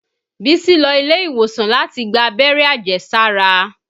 Bísí lọ ilé-ìwòsàn láti gbá abẹ́rẹ́ àjẹsára